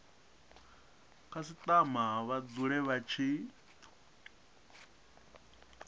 khasitama vha dzule vha tshi